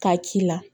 K'a k'i la